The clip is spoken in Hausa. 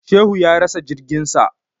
Shehu ya rasa jirgin sa.